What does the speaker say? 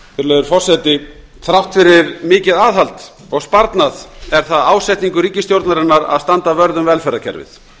virðulegur forseti þrátt fyrir mikið aðhald og sparnað er það ásetningur ríkisstjórnarinnar að standa vörð um velferðarkerfið